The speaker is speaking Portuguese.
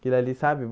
Aquilo ali, sabe?